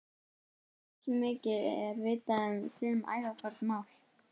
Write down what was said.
Allmikið er vitað um sum ævaforn mál.